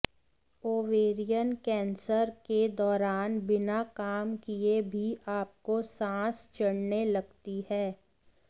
ovarian cancer के दौरान बिना काम किए भी आपको सांस चढ़ने लगती है